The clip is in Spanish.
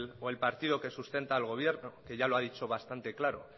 o el partido que sustenta al gobierno que ya lo ha dicho bastante claro